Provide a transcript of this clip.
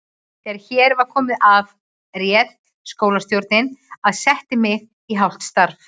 Þegar hér var komið afréð skólastjórnin að setja mig í hálft starf.